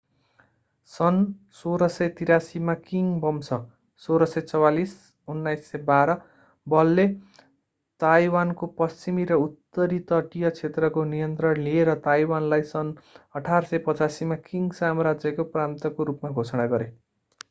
सन् 1683 मा किङ वंश 1644-1912 बलले ताइवानको पश्चिमी र उत्तरी तटीय क्षेत्रको नियन्त्रण लिए र ताइवानलाई सन् 1885 मा किङ साम्राज्यको प्रान्तको रूपमा घोषणा गरे।